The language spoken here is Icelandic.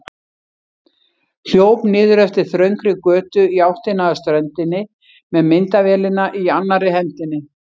Hljóp niður eftir þröngri götu í áttina að ströndinni með myndavélina í annarri hendinni.